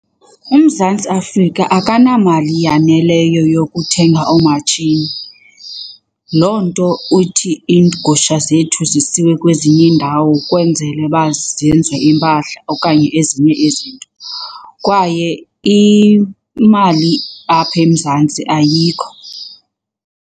UMzantsi Afrika akanamali yaneleyo yokuthenga oomatshini. Loo nto uthi iigusha zethu zisiwe kwezinye iindawo kwenzele uba zenze iimpahla okanye ezinye izinto, kwaye imali apha eMzantsi ayikho.